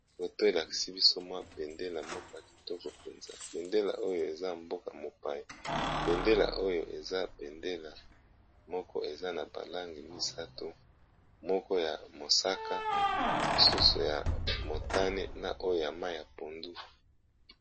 Foto elakisi biso mwa bendela moko ya kitoko mpenza. Bendela oyo eza mboka mopaye bendela oyo eza bendela moko eza na balangi misato, moko ya mosaka, mosusu ya motane na oyo ya mai ya pondu.